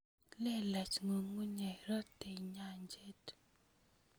Lelach ngungunyek, rotei nyanjet